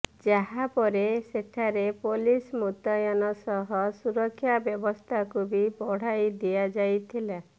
ଯାହା ପରେ ସେଠାରେ ପୋଲିସ ମୁତୟନ ସହ ସୁରକ୍ଷା ବ୍ୟବସ୍ଥାକୁ ବି ବଢ଼ାଇ ଦିଆଯାଇଥିଲା